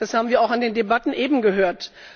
Das haben wir auch in den Debatten eben gehört.